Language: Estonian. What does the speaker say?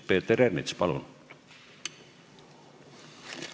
Peeter Ernits, palun!